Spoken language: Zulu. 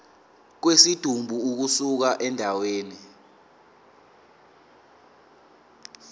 kwesidumbu ukusuka endaweni